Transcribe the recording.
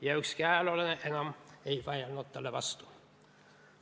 " Ja ükski ajaloolane enam ei vaielnud talle vastu.